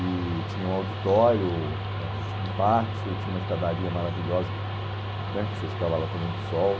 E tinha um auditório, ãh tinha um pátio, tinha uma escadaria maravilhosa que né, que você ficava lá tomando sol.